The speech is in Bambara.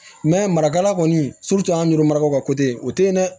marakala kɔni an ɲɛrɛ mara ko o te yen dɛ